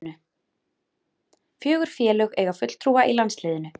Fjögur félög eiga fulltrúa í landsliðinu